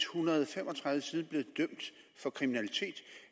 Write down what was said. hundrede og fem og tredive siden blevet dømt for kriminalitet